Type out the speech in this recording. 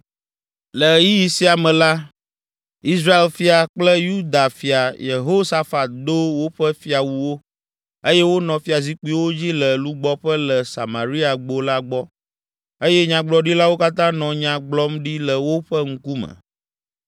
Le ɣeyiɣi sia me la, Israel fia kple Yuda fia Yehosafat do woƒe fiawuwo, eye wonɔ fiazikpuiwo dzi le lugbɔƒe le Samariagbo la gbɔ, eye nyagblɔɖilawo katã nɔ nya gblɔm ɖi le woƒe ŋkume.